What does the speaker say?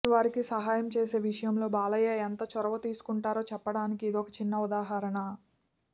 ఎదుటివారికి సహాయం చేసే విషయంలో బాలయ్య ఎంత చొరవ తీసుకుంటారో చెప్పడానికి ఇదొక చిన్న ఉదాహరణ